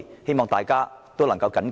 希望大家能緊記這一點。